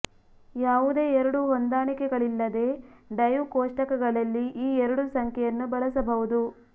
ಯಾವುದೇ ಎರಡು ಹೊಂದಾಣಿಕೆಗಳಿಲ್ಲದೆ ಡೈವ್ ಕೋಷ್ಟಕಗಳಲ್ಲಿ ಈ ಎರಡು ಸಂಖ್ಯೆಯನ್ನು ಬಳಸಬಹುದು